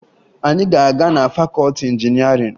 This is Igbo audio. Anyị ga-aga na fakọọti injinịarịn